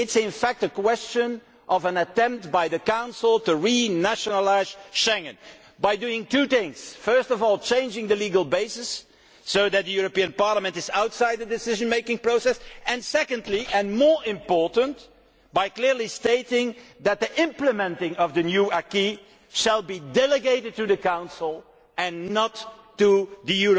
It is, in fact, a question of an attempt by the Council to renationalise Schengen by doing two things first of all changing the legal basis so that this Parliament lies outside the decision making process and secondly and more importantly by clearly stating that implementation of the new acquis will be delegated to the Council and not to